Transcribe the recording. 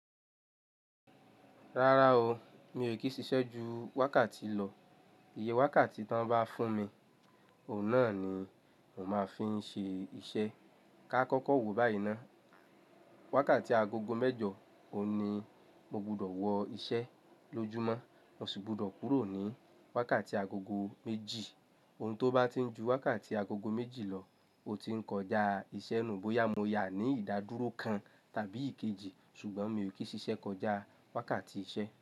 Rárá o, mii kì í ṣiṣẹ́ ju wákàtí lọ. Iye wákàtí tí wọ́n bá fún mi, òun náà ni mò máa fi ń ṣe iṣẹ́. Ka kọ́kọ́ wò báyìí ná. Wákàtí agogo mẹ́jọ òun ní mo gbudọ̀ wọ iṣẹ́ lójúmọ́, mo sì gbudọ̀ kúrò ní wákàtí agogo méjì. Ohun tó bá ti ń ju wákàtí agogo méjì lọ, ó ti ń kọjá iṣẹ́ nù. Bóyá mo yáa ní ìdádúró kan tàbí ìkejì, ṣùgbọ́n mi ò kí ṣiṣẹ́ kọjá wákàtí iṣẹ́